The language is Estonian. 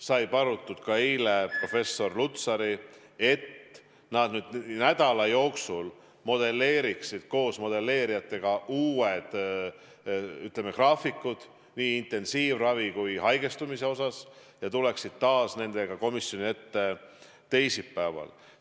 Sai palutud ka eile professor Lutsarit, et nad nädala jooksul modelleeriksid koos modelleerijatega uued graafikud nii intensiivravi kui ka haigestumise kohta ja tuleksid taas nendega komisjoni ette teisipäeval.